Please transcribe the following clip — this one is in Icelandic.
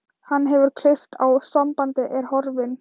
Hann hefur klippt á sambandið, er horfinn.